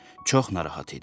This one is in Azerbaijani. Çox narahat idi.